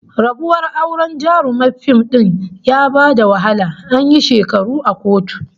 Rabuwar auren jaruman fim din ya ba da wahala, an yi shekaru a kotu